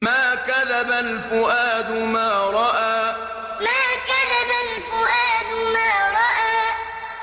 مَا كَذَبَ الْفُؤَادُ مَا رَأَىٰ مَا كَذَبَ الْفُؤَادُ مَا رَأَىٰ